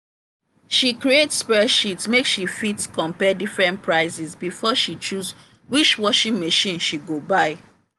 she create spreadsheet make she fit compare different prices before she choose which washing machine she go buy.